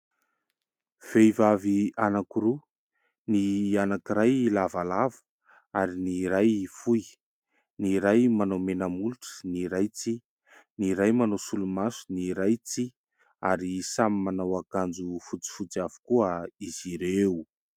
Vehivavy anankiroa ny anankiray lavalava ary ny iray fohy, ny iray manao mena molotra, ny iray tsia, ny iray manao solomaso ny iray tsia ary samy manao akanjo fotsifotsy avokoa izy ireo.